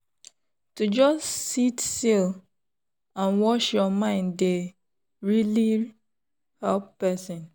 to just sit still and watch your mind dey really help person.